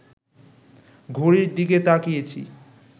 ঘড়ির দিকে তাকিয়েছি